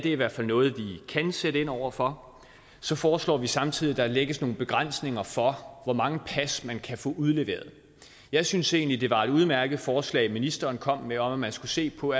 i hvert fald noget vi kan sætte ind over for så foreslår vi samtidig at der lægges nogle begrænsninger for hvor mange pas man kan få udleveret jeg synes egentlig det var et udmærket forslag ministeren kom med om at man skulle se på